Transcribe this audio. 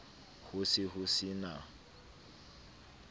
ho se ho se na